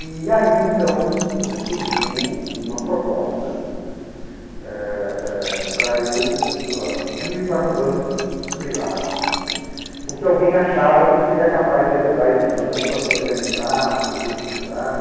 E aí, então, surgiu uma proposta, né, eh eh para eu ah ir para um banco privado, né, porque alguém achava que eu seria capaz de ajudar esse banco a se organizar, se reestruturar,